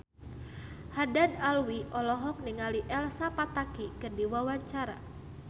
Haddad Alwi olohok ningali Elsa Pataky keur diwawancara